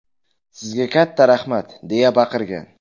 Sizga katta rahmat!” deya baqirgan.